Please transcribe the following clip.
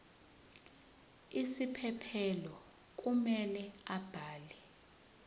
isiphephelo kumele abhale